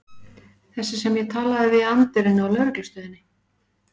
Þessi sem ég talaði við í anddyrinu á lögreglustöðinni.